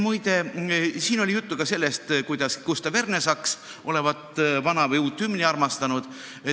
Siin oli juttu ka sellest, kuidas Gustav Ernesaks olevat vana või uut hümni armastanud.